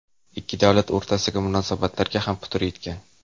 Ikki davlat o‘rtasidagi munosabatlarga ham putur yetgan.